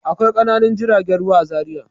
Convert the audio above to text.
Akwai ƙananan jiragen ruwa a Zariya.